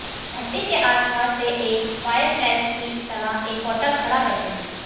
भट्टी के आसपास वे एक फायरप्लेस की तरह एक पोर्टल खड़ा करते हैं